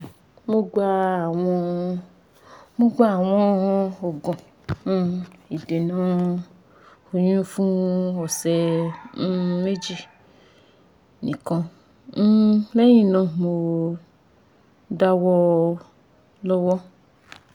mo gba awọn mo gba awọn oogun um idena oyun fun ọsẹ um meji nikan um lẹhinna mo dawọ lo wọn